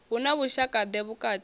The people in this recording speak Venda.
hu na vhushaka ḓe vhukati